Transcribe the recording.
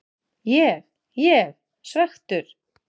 Ég ég svekktur?